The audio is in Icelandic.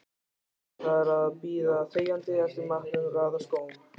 Lærði þar að bíða þegjandi eftir matnum, raða skóm.